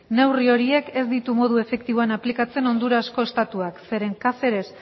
neurri horiek ez ditu modu efektiboan aplikatzen hondurasko estatuak zeren caceres